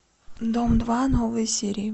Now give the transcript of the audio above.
дом два новые серии